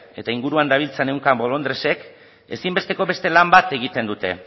eta inguruan dabiltza ehunka bolondresek ezin besteko beste lan bat egiten dute